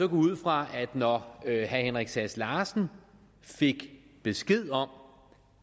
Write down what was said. ud fra at når herre henrik sass larsen fik besked om